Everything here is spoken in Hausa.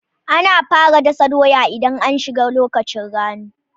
Ana fara dasa doya idan an shiga lokacin rani